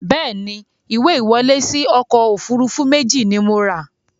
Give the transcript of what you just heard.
Bẹ́ẹ̀ni, ìwé ìwọlé síí ọkọ̀ Òfurufú méjì ni mo ra